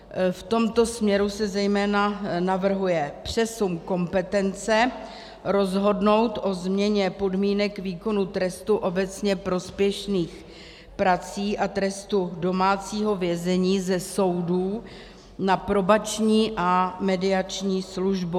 V tomto směru se zejména navrhuje přesun kompetence rozhodnout o změně podmínek výkonu trestu obecně prospěšných prací a trestu domácího vězení ze soudů na Probační a mediační službu.